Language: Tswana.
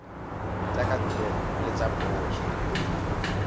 tsa kantoro le tsa poso